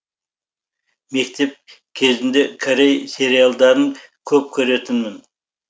мектеп кезінде корей сериалдарын көп көретінмін